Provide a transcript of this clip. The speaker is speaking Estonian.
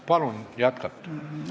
Palun jätkata!